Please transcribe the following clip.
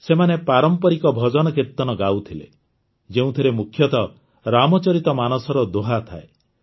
ସେମାନେ ପାରମ୍ପରିକ ଭଜନକୀର୍ତ୍ତନ ଗାଉଥିଲେ ଯେଉଁଥିରେ ମୁଖ୍ୟତଃ ରାମଚରିତ ମାନସର ଦୋହା ଥାଏ